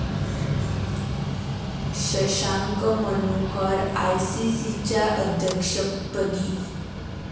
शशांक मनोहर आयसीसीच्या अध्यक्षपदी